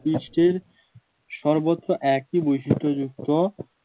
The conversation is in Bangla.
ভুপৃষ্টের সর্বত্র একই বৈশিষ্ট যুক্ত